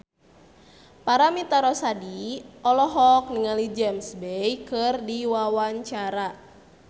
Paramitha Rusady olohok ningali James Bay keur diwawancara